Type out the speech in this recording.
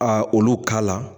A olu ka la